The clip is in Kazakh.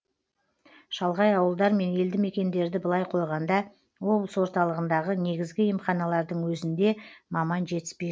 шалғай ауылдар мен елді мекендерді былай қойғанда облыс орталығындағы негізгі емханалардың өзінде маман жетіспей